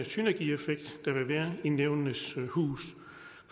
synergieffekt der vil være i nævnenes hus